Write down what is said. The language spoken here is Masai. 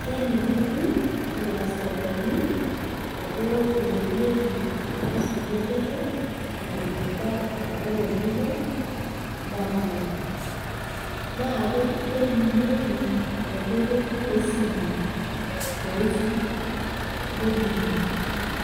Kelikini ircustomani ajo iiepieki mpisaai enteke eton itu ebau enkolong' enye napuo naa keimunyieki enkoitoi esimu pee isum nening'u